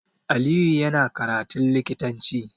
Aliyu yana karatun likitanci